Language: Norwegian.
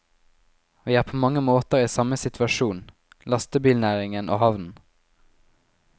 Vi er på mange måter i samme situasjon, lastebilnæringen og havnen.